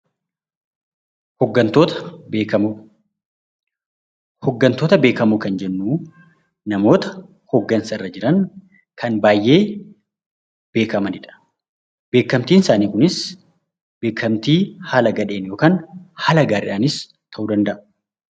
Hooggantoota beekamoo kan jennu namoota hooggansa irra jiran kan baay'ee beekamanidha. Beekamtiin isaanii Kunis beekamtii haala gadheen yookaan haala gaariidhaanis ta'uu danda'a